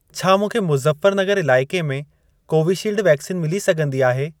छा मूंखे मुज़फ्फरनगर इलाइके में कोवीशील्ड वैक्सीन मिली सघंदी आहे?